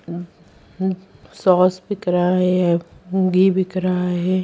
Sauce बिक रहा है कंघी बिक रहा है।